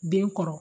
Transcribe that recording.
Den kɔrɔ